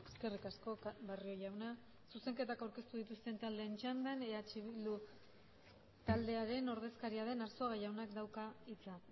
eskerrik asko barrio jauna zuzenketak aurkeztu dituzten taldeen txandan eh bildu taldearen ordezkaria den arzuaga jaunak dauka hitza